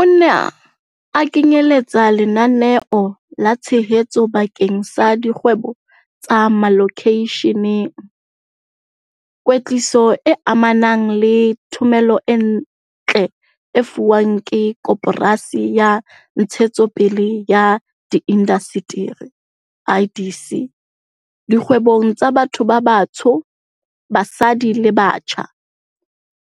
Ona a kenyeletsa lenaneo la tshehetso bakeng sa dikgwebo tsa malokeisheneng, kwetliso e amanang le thomelontle e fuwang ke Koporasi ya Ntshetsopele ya Diindasteri IDC dikgwebong tsa batho ba batsho, basadi le batjha,